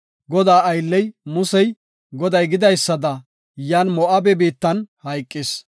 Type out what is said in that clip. Godaa aylley, Musey, Goday gidaysada, yan Moo7abe biittan hayqis.